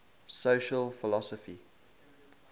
social philosophy